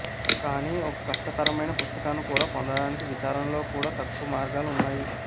కానీ ఒక కష్టతరమైన పుస్తకాన్ని కూడా పొందడానికి విచారణలో కూడా తక్కువ మార్గాలు ఉన్నాయి